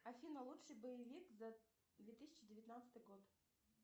афина лучший боевик за две тысячи девятнадцатый год